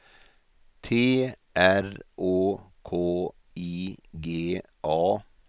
T R Å K I G A